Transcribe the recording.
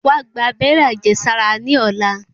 Wá gba abẹ́rẹ́ àjẹsára ní ọ̀lá.